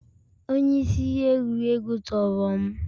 Onye isi ihe egwuregwu tọrọ m